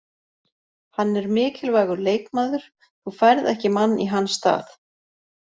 Hann er mikilvægur leikmaður, þú færð ekki mann í hans stað: